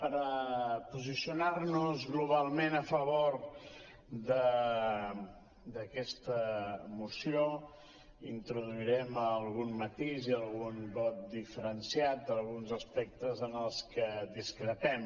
per posicionar·nos globalment a favor d’aquesta moció intro·duirem algun matís i algun vot diferenciat en alguns aspectes en els que discrepem